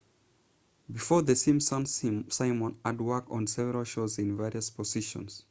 before the simpsons simon had worked on several shows in various positions